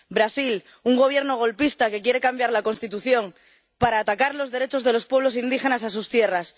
Brasil un Gobierno golpista que quiere cambiar la Constitución para atacar los derechos de los pueblos indígenas a sus tierras.